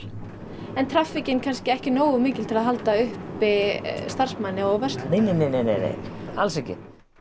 en traffíkin kannski ekki nógu mikil til að halda uppi starfsfólki og verslun nei nei nei nei alls ekki